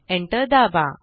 enter दाबा